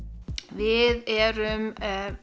við erum